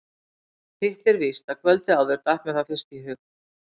Hitt er víst að kvöldið áður datt mér það fyrst í hug.